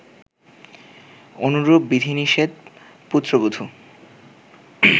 অনুরূপ বিধিনিষেধ পুত্রবধু